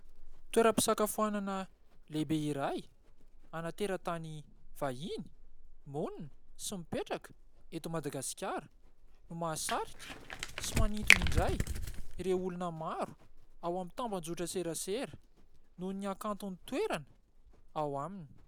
Toerampisakafoanana lehibe iray an'ny terantany vahiny monina sy mipetraka eto Madagasikara no mahasarika sy manintona indray ireo olona maro ao amin'ny tambajotran-tserasera noho ny hakanton'ny toerana ao aminy.